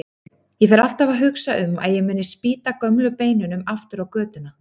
Ég fer alltaf að hugsa um að ég muni spýta gömlu beinunum aftur á götuna.